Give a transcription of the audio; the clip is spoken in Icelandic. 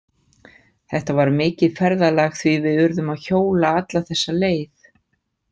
Þetta var mikið ferðalag því við urðum að hjóla alla þessa leið.